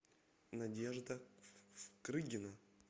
надежда крыгина